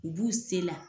U b'u se la